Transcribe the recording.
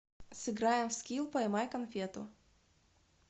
сыграем в скил поймай конфету